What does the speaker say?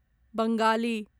Bengali